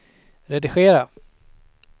redigera